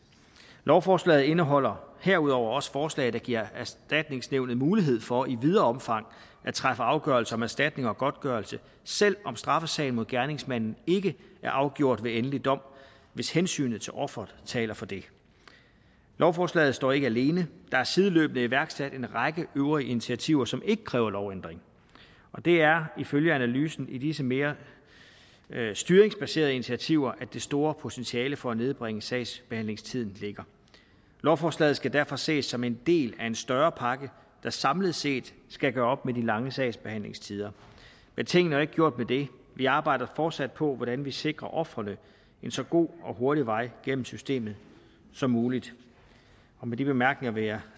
lovforslaget indeholder herudover også forslag der giver erstatningsnævnet mulighed for i videre omfang at træffe afgørelse om erstatning og godtgørelse selv om straffesagen mod gerningsmanden ikke er afgjort ved endelig dom hvis hensynet til offeret taler for det lovforslaget står ikke alene der er sideløbende iværksat en række øvrige initiativer som ikke kræver lovændring og det er ifølge analysen i disse mere styringsbaserede initiativer det store potentiale for at nedbringe sagsbehandlingstiden ligger lovforslaget skal derfor ses som en del af en større pakke der samlet set skal gøre op med de lange sagsbehandlingstider men tingene er jo ikke gjort med det vi arbejder fortsat på hvordan vi sikrer ofrene en så god og hurtig vej gennem systemet som muligt med de bemærkninger vil jeg